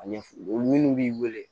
A ɲɛf'u ye minnu b'i wele